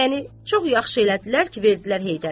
Yəni çox yaxşı elədilər ki, verdilər Heydərə.